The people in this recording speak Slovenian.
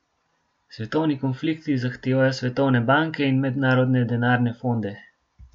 Svetovni konflikti zahtevajo svetovne banke in mednarodne denarne fonde.